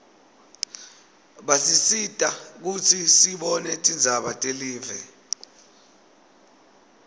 basisita kutsi sibone tindzaba telive